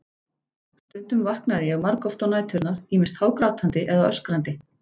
Stundum vaknaði ég margoft á næturnar, ýmist hágrátandi eða öskrandi.